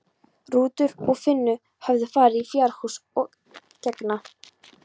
Rútur og Finna höfðu farið í fjárhúsið að gegna.